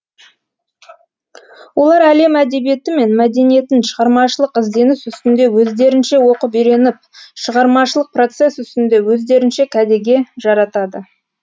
олар әлем әдебиеті мен мәдениетін шығармашылық ізденіс үстінде өздерінше оқып үйреніп шығармашылық процесс үстінде өздерінше кәдеге жаратады